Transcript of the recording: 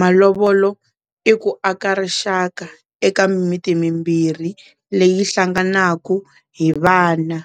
malovolo i ku aka rixaka eka mimiti mimbirhi leyi hlanganaku hi vana.